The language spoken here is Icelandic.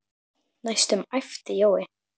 næstum æpti Jói.